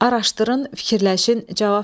Araşdırın, fikirləşin, cavab verin.